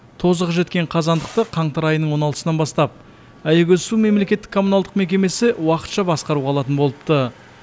тозығы жеткен қазандықты қаңтар айының он алтысынан бастап аягөз су мемлекеттік коммуналдық мекемесі уақытша басқаруға алатын болыпты